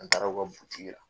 An taara u ka butiki la